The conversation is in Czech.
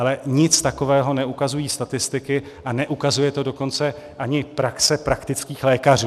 Ale nic takového neukazují statistiky, a neukazuje to dokonce ani praxe praktických lékařů.